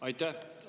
Aitäh!